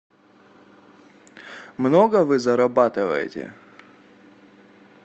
много вы зарабатываете